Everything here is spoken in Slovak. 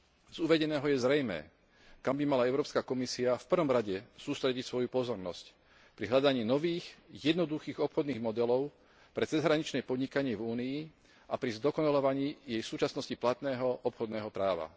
Z uvedeného je zrejmé, kam by mala Európska komisia v prvom rade sústrediť svoju pozornosť pri hľadaní nových, jednoduchých obchodných modelov pre cezhraničné podnikanie v Únii a pri zdokonaľovaní jej v súčasnosti platného obchodného práva.